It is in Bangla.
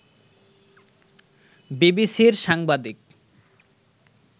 বিবিসির সাংবাদিক